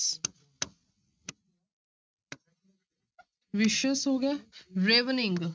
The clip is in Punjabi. Vicious ਹੋ ਗਿਆ ravening